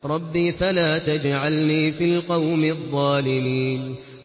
رَبِّ فَلَا تَجْعَلْنِي فِي الْقَوْمِ الظَّالِمِينَ